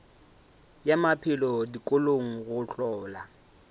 ya maphelo dikolong go hlola